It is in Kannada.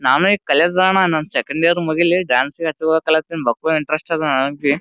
ನಾವು ಇಗ ಕಲಿಯೋದ ಅದಾ ಅಣ್ಣ ಸೆಕೆಂಡ್ ಇಯರ್ ಮುಗಿಲಿ ಡಾನ್ಸ್ಗ ಹಚ್ಕೊಬೆಕು ಅನ್ಲಿತಿದ ಬಕ್ಕುಳ ಇಂಟರೆಸ್ಟ್ ಅದ ನನಬಿ--